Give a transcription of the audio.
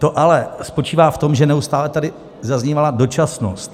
To "ale" spočívá v tom, že neustále tady zaznívala dočasnost.